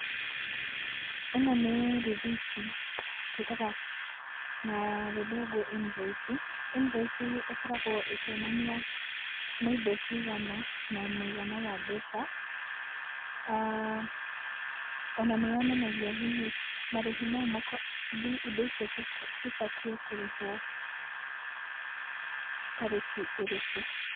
Ĩno nĩ rĩthiti twĩtaga na gĩthũngũ invoice. Invoice ĩkoragwo ĩkĩonania nĩ indo cigana, na mũigana wa mbeca. Ona nĩ yonanagia hihi marĩhi mau, indo icio ibatiĩ kũrĩhwo tarĩki ĩrĩkũ.